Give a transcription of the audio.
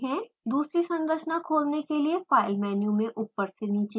दूसरी संरचना खोलने के लिए: फाइल मेनू में ऊपर से नीचे जाएँ